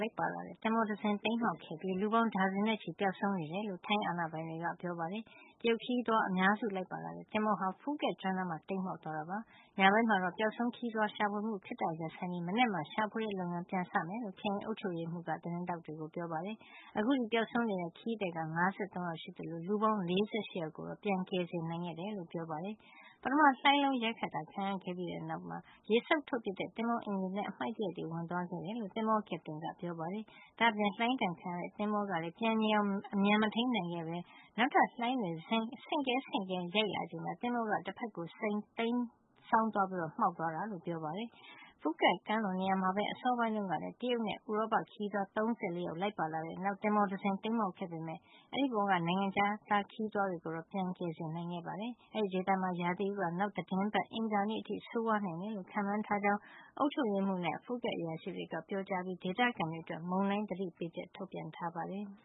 လိုက်ပါလာတဲ့ သင်္ဘောတစင်း တိမ်းမှောက်သွားခဲ့ပြီး လူပေါင်း ဒါဇင်နဲ့ချီ ပျောက်ဆုံးနေတယ်လို့ ထိုင်းအာဏာပိုင်တွေက ပြောပါတယ်။ တရုတ်ခရီးသွား အများစုလိုက်ပါလာတဲ့ သင်္ဘောဟာ ဖူးကက်ကျွန်း နားမှာ တိမ်းမှောက်သွားခဲ့တာပါ။ ညပိုင်းမှာတော့ ပျောက်ဆုံး ခရီးသွားတွေကို ရှာဖွေမှု ခဏရပ်ဆိုင်းထားပြီး မနက်မှာ ရှာဖွေတဲ့ လုပ်ငန်း ပြန်စမယ်လို့ ခရိုင်အုပ်ချုပ်ရေးမှုး Norraphat Plodthong က သတင်းထောက်တွေကို ပြောပါတယ်။ အခုထိ ပျောက်ဆုံးနေတဲ့ ခရီးသည်က ၅၃ ယောက် ရှိနေသလို လူပေါင်း ၄၈ ယောက်ကို ပြန်ကယ်ဆယ် နိုင်ခဲ့တယ်လို့ ပြောပါတယ်။ ပထမ လှိုင်းလုံးရိုက်တာ ခံခဲ့ရတဲ့နောက် ရေစုပ်ထုတ်ပစ်တဲ့ သင်္ဘောအင်ဂျင်ထဲကို အမှိုက်သရိုက်တွေ ဝင်သွားခဲ့တယ်လို့ သင်္ဘော ကက်ပတိန် Phoenix Somjing Boontham ကပြောပါတယ်။ ဒါ့အပြင် လှိုင်းဒဏ်ခံရတဲ့ သင်္ဘောကလည်း ပြန်ငြိမ်အောင် အမြန်မထိမ်းနိုင်ခဲ့ ပဲ နောက်ထပ် လှိုင်းတွေ ဆင့်ကဲဆင့်ကဲ ရိုက်လာချိန်မှာ သင်္ဘောက တဖက်ကို တိမ်းစောင်းသွားပြီး မှောက်သွားတာလို့ ပြောပါတယ်။ ဖူးကက် ကမ်းလွန်နေရာမှာပဲ အစောပိုင်းတုန်းကလည်း တရုတ်နဲ့ ဥရောပ ခရီးသွား ၃၉ ယောက် လိုက်ပါလာတဲ့ နောက်သင်္ဘော တစင်း တိမ်းမှောက်ခဲ့ပေမယ့်အဲဒီ သင်္ဘောပေါ်က နိုင်ငံခြား ခရီးသွား တွေကိုတော့ ပြန်ကယ်ဆယ်နိုင်ခဲ့တယ်လို့ အာဏာပိုင်တွေက ပြောပါတယ်။ အဲဒီဒေသမှာ ရာသီဥတုဟာ နောက်သီတင်းပတ် အင်္ဂါနေ့အထိ ဆိုးဝါးနိုင်တယ်လို့ ခန့်မှန်းထားကြောင်း အုပ်ချုပ်ရေးမှုး Norraphat နဲ့ ဖူးကက် က အရာရှိတွေက ပြောကြားခဲ့ပြီး ဒေသခံတွေအတွက် မုန်တိုင်း သတိပေးချက် ထုတ်ပြန်ထားပါတယ်။